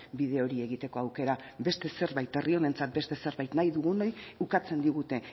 bide hori egiteko aukera beste zerbait herri honentzat beste zerbait nahi dugunoi ukatzen digute